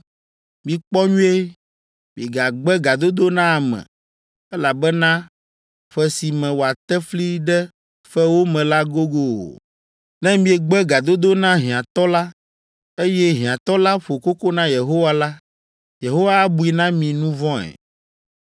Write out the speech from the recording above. Mikpɔ nyuie! Migagbe gadodo na ame, elabena ƒe si me woate fli ɖe fewo me la gogo o! Ne miegbe gadodo na hiãtɔ la, eye hiãtɔ la ƒo koko na Yehowa la, Yehowa abui na mi nu vɔ̃e.